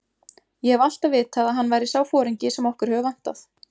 Ég hef alltaf vitað að hann væri sá foringi sem okkur hefur vantað.